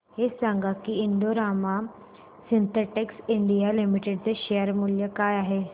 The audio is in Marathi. हे सांगा की Indo Rama Synthetics India Limited चे शेअर मूल्य काय आहे